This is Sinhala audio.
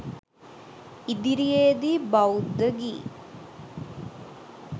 ඉදිරියේ දී බෞද්ධ ගී